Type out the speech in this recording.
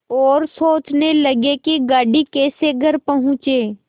और सोचने लगे कि गाड़ी कैसे घर पहुँचे